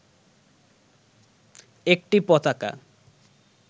একটি পতাকা